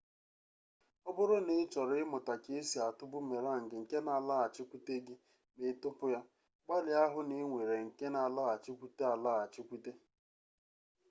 ọbụrụ na ị chọrọ ịmụta ka esi atụ bumerang nke na alaghachikwute gị ma ị tụpụ ya gbalịa hụ na ị nwere nke na alaghachikwute alaghachikwute